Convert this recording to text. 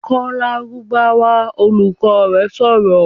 "Kọ Lárúbáwá!", Olùkọ́ rẹ̀ sọ̀rọ̀